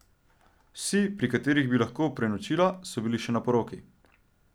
Vsi, pri katerih bi lahko prenočila, so bili še na poroki.